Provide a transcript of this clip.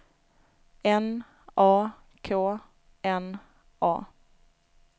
N A K N A